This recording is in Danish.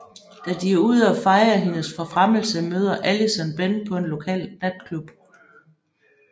Da de er ude og fejrer hendes forfremmelse møder Allison Ben på en lokal natklub